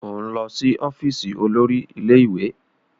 O n lọ si ọfiisi olori ile-iwe!